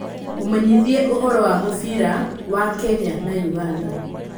mũmenyithie ũhoro wa mũbira wa Kenya na Uganda